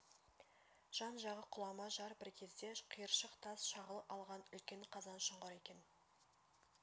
жан-жағы құлама жар бір кезде қиыршық тас шағыл алған үлкен қазан шұңқыр екен